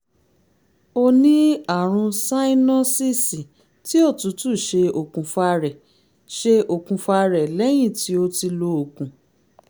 o ní àrùn sáínọ́síìsì tí òtútù ṣe okùnfà rẹ̀ ṣe okùnfà rẹ̀ lẹ́yìn tó ti lo oògùn